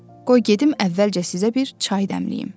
Qoy gedim əvvəlcə sizə bir çay dəmləyim.